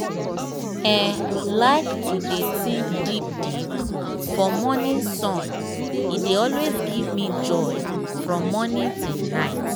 eehi like to dey think deep deep for morning sun e dey always give me joy from morning till night